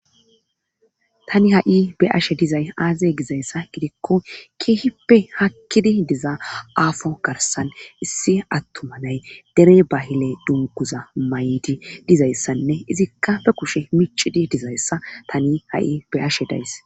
tani ha7i be ashe dizay aaze gizayssa gidikko kihippe hakkidi diza aafo garsan issi attumanay dere bahile dunkuza may7idi dizayssanne izikka be kushe micidi dizayssa tani ha7i be ashe days